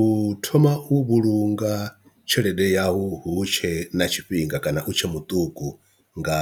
U thoma u vhulunga tshelede yau hu tshe na tshifhinga kana u tshe muṱuku nga